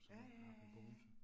Ja ja ja ja